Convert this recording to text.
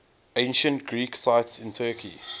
ancient greek sites in turkey